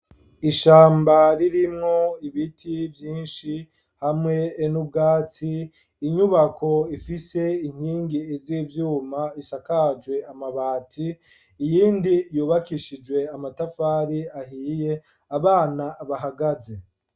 Ishamba ririmwo ibiti vyinshi, hamwe nubwatsi inyubako ifise inkingi iz'ivyuma ,,ishakajwe amabati, iyindi yubakishijwe amatafari ahiye, abana bahagaze.